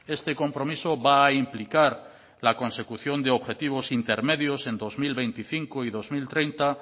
este compromiso va a implicar la consecución de objetivos intermedios en dos mil veinticinco y dos mil treinta